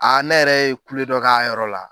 Ne yɛrɛ ye kule dɔ k'a yɔrɔ la.